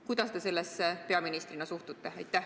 Kuidas te sellesse peaministrina suhtute?